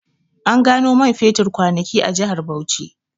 An gano man fetur kwanaki a jihar Bauchi